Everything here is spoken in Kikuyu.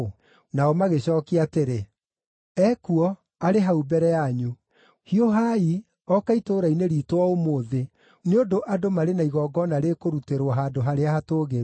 Nao magĩcookia atĩrĩ, “Ekuo, arĩ hau mbere yanyu. Hiũhai, ooka itũũra-inĩ riitũ o ũmũthĩ, nĩ ũndũ andũ marĩ na igongona rĩkũrutĩrwo handũ harĩa hatũũgĩru.